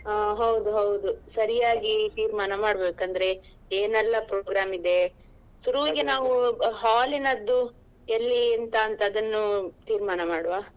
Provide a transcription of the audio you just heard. ಹ ಹೌದು ಹೌದು ಸರಿಯಾಗಿ ತೀರ್ಮಾನ ಮಾಡ್ಬೇಕು ಅಂದ್ರೆ ಏನೆಲ್ಲ program ಇದೆ. ನಾವು hall ನದ್ದು ಎಲ್ಲಿ ಎಂತ ಅಂತ ಅದನ್ನು ತೀರ್ಮಾನ ಮಾಡುವ.